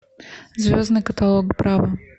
звездный каталог браво